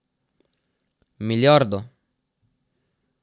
Milijardo!